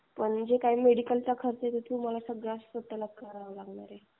पण जे काही मेडिकलचा खर्च ते सगळं तुम्हाला स्वतः करावा लागेल.